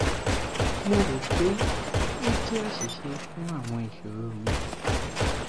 mo ro pe o jẹ aṣiṣe fun awọn iṣoro mi